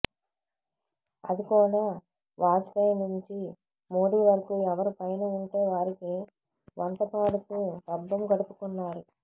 అది కూడా వాజ్పేయి నుంచి మోడీ వరకూ ఎవరు పైన వుంటే వారికి వంత పాడుతూ పబ్బం గడుపుకున్నారు